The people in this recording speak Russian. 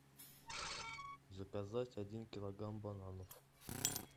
заказать один килограмм бананов